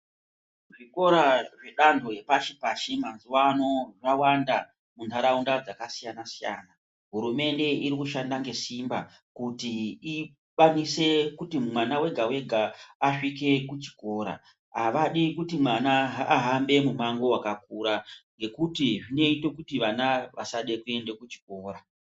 Zvikora zvedanho repashi-pashi, mazuvano zvawanda mazuva ano muntaraunda dzakasiyana-siyana. Hurumende irikushanda ngesimba kuti ikwanise kuti mwana wega-wega asvike kuchikora, avadi kuti mwana ahambe mumango wakakura ngekuti zvinoite kuti vana vasada kuenda kuchikora.